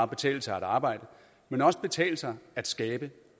betale sig at arbejde men også betale sig at skabe